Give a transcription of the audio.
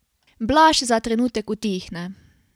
Blaž za trenutek utihne.